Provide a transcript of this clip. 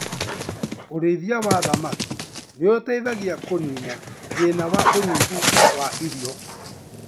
Ũrĩithia wa thamaki nĩ ũteithagia kũnina thĩna wa ũnyihu wa irio.